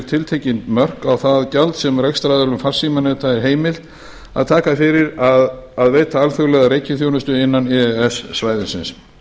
tiltekin mörk á það gjald sem rekstraraðilum farsímaneta er heimilt að taka fyrir að veita alþjóðlega reikiþjónustu innan e e s svæðisins